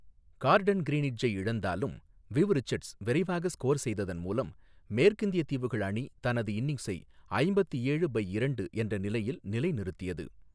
Garden கிரீனிட்ஜை இழந்தாலும், Viv Richards விரைவாக ஸ்கோர் செய்ததன் மூலம் மேற்கிந்தியத் தீவுகள் அணி தனது இன்னிங்ஸை ஐம்பத்து ஏழு பை இரண்டு என்ற நிலையில் நிலைநிறுத்தியது.